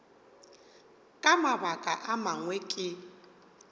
ka mabaka a mangwe ke